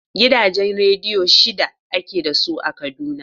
Gidajen rediyo shida ake da su a Kaduna.